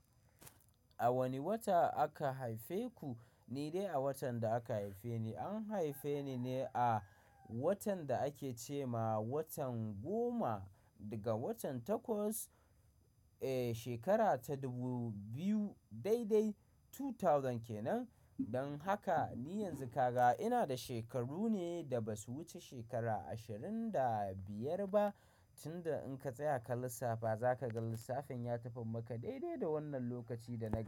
A wane wata aka haife ku? Ni dai a watan da aka haife ni, an haife ni ne a watan da ake ce ma watan goma daga watan Takwas, eh shekara ta dubu biyu daidai tutauzan kenan. Don haka ni yanzu kaga ina da shekaru ne da ba su wuce shekara ashirin da biyar ba. Tun da in ka tsaya ka lissafa, za ka ga lissafin ya tafi maka daidai da wannan lokaci da na gaya.